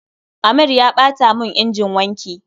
Amir ya ɓata mun injin wanki